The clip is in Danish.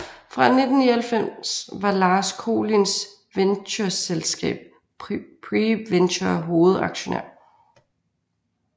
Fra 1999 var Lars Kolinds ventureselskab PreVenture hovedaktionær